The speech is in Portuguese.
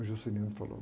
O Juscelino falou.